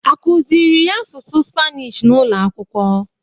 Akụzịrị ys asụsụ spanish n'ụlọakwụkwọ?